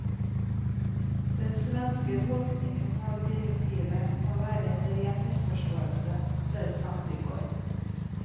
Den svenske tolkningen av direktivet må være en ren misforståelse, ble det sagt i går.